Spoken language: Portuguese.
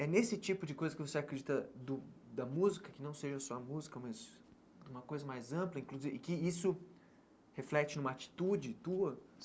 É nesse tipo de coisa que você acredita do da música, que não seja só a música, mas de uma coisa mais ampla e inclusive e que isso reflete numa atitude tua?